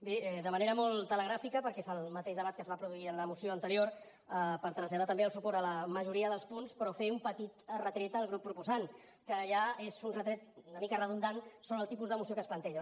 bé de manera molt telegràfica perquè és el mateix debat que es va produir en la moció anterior per traslladar també el suport a la majoria dels punts però fer un petit retret al grup proposant que ja és un retret una mica redundant sobre el tipus de moció que és planteja